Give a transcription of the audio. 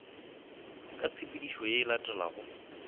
ka tshepedišo ye e latelago